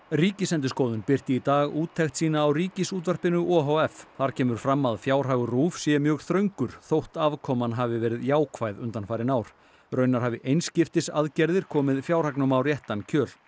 Ríkisendurskoðun birti í dag úttekt sína á Ríkisútvarpinu o h f þar kemur fram að fjárhagur RÚV sé mjög þröngur þótt afkoman hafi verið jákvæð undanfarin ár raunar hafi einskiptisaðgerðir komið fjárhagnum á réttan kjöl